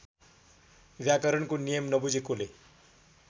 व्याकरणको नियम नबुझेकोले